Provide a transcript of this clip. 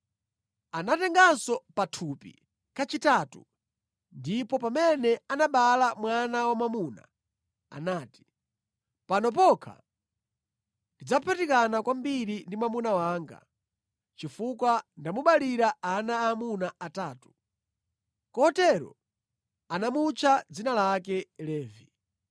Anatenganso pathupi kachitatu, ndipo pamene anabereka mwana wamwamuna anati, “Pano pokha tidzaphatikana kwambiri ndi mwamuna wanga, chifukwa ndamubalira ana aamuna atatu.” Kotero anamutcha dzina lake Levi.